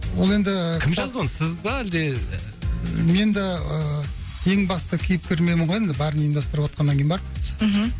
ол енді кім жазды оны сіз ба әлде мен де ыыы ең басты кейіпкер менмін ғой енді бәрін ұйымдастырып отқаннан кейін барып мхм